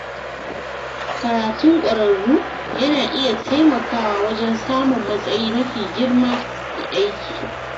Karatun ƙwararru yana iya taimakawa wajen samun matsayi mafi girma a aiki.